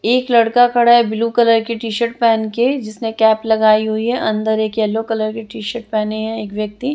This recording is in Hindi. एक लड़का खड़ा है ब्लू कलर की टी_शर्ट पहन के जिसने कैप लगाई हुई है अंदर एक येल्लो कलर की टी_शर्ट पहने हैं एक व्यक्ति --